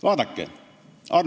Vaadake!